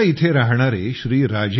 कोलकाता येथे राहणारे श्री